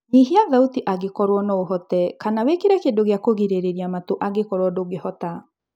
Nyihia thauti angĩkorwo noũhote, kana wĩkĩre kĩndũ gĩa kũrigĩrĩria matũ angĩkorwo ndũngĩhota